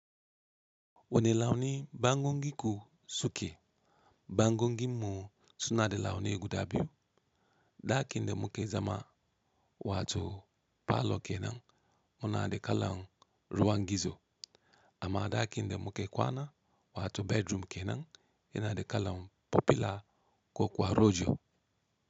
Wane launi bangon giku suke, bangon gimmu suna de launi guda biyu. Daki inde muke zama wato parlour kenan muna de kalan ruwan gizo. Amma dakin inde muke kwana wato bedroom kenan yana de kalan popular ko kwaro jo.